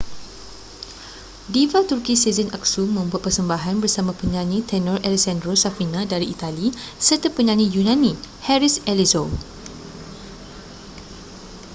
diva turki sezen aksu membuat persembahan bersama penyanyi tenor alessandro safina dari itali serta penyanyi yunani haris alexiou